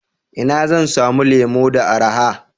Ina zan samu lemu da araha?